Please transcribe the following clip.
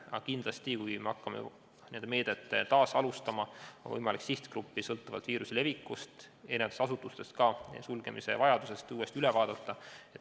Aga siis, kui hakkame seda meedet uuesti kasutama, on kindlasti võimalik sihtgrupp – sõltuvalt viiruse levikust, erinevatest asutustest ja sulgemise vajadusest – uuesti üle vaadata.